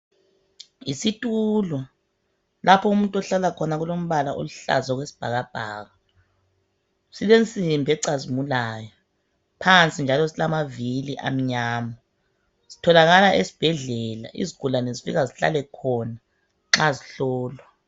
Yisithulo lapho umuntu ohlala khona kulombala oluhlaza okwesibhakabhaka. Silensimbi ecazimulayo ,phansi njalo silamavili amnyama . Sitholakala esibhedlela, izigulane zifika zihlale khona nxa zihlolwa.